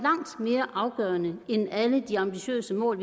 afgørende end alle de ambitiøse mål